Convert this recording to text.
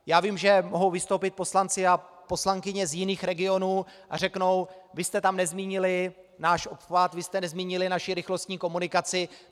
Já vím, že mohou vystoupit poslanci a poslankyně z jiných regionů a řeknou: vy jste tam nezmínili náš obchvat, vy jste nezmínili naši rychlostní komunikaci.